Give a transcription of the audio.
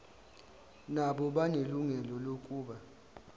nabo banelungelo lokuba